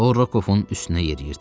O, Rokovun üstünə yeriyirdi.